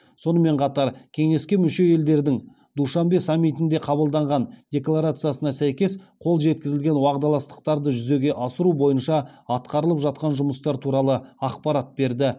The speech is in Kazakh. сонымен қатар кеңеске мүше елдердің душанбе саммитінде қабылданған декларациясына сәйкес қол жеткізілген уағдаластықтарды жүзеге асыру бойынша атқарылып жатқан жұмыстар туралы ақпарат берді